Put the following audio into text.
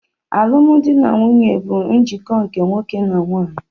Alụmdi na nwunye bụ njikọ nke nwoke na nwanyị.